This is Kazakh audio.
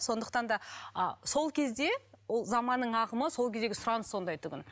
сондықтан да а сол кезде ол заманның ағымы сол кездегі сұраныс сондай тұғын